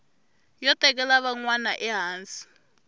yo tekela van wana ehansi